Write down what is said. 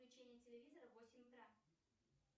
включение телевизора в восемь утра